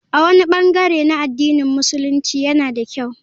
A wani bangare na addinin Musulunci yana da kyau.